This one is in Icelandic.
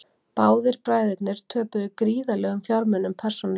Báðir bræðurnir töpuðu gríðarlegum fjármunum persónulega